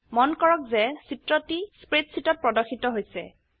মন কৰক যে চিত্ৰটি স্প্ৰেডশীটত প্ৰদৰ্শিত হৈছে